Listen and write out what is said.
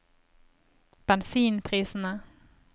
bensinprisene